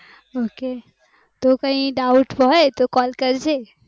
ok તો કઈ doubt હોઈ તો call કરજે